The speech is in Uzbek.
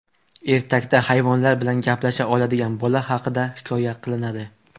Ertakda hayvonlar bilan gaplasha oladigan bola haqida hikoya qilinadi.